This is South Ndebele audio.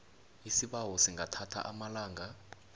isibawo singathatha amalanga